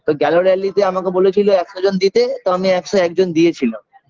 তো গেল rally -তে আমাকে বলেছিল একশো জন দিতে তো আমি একশো একজন দিয়েছিলাম